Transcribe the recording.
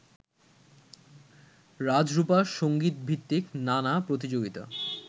রাজরূপা সংগীতভিত্তিক নানা প্রতিযোগিতা